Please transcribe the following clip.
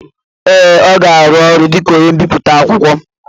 ee, ọ ga-arụ ọrụ dị ka onye mbiputa akwụkwọ